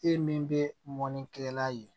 E min bɛ mɔnikɛla ye